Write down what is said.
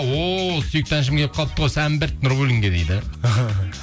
о сүйікті әншім келіп қалыпты ғой нурбуллинге дейді